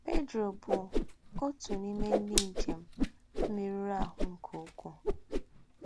Pedro bú òtú n’ímè ndí́ ńjém mérùrù àhù́ nké úkwuu.